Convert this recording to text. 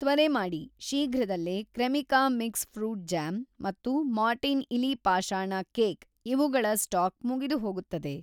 ತ್ವರೆ ಮಾಡಿ, ಶೀಘ್ರದಲ್ಲೇ ಕ್ರೆಮಿಕಾ ಮಿಕ್ಸ್‌ ಫ್ರೂಟ್‌ ಜ್ಯಾಮ್ ಮತ್ತು ಮಾರ್ಟಿನ್ ಇಲಿ ಪಾಷಾಣ ಕೇಕ್ ಇವುಗಳ ಸ್ಟಾಕ್‌ ಮುಗಿದುಹೋಗುತ್ತದೆ.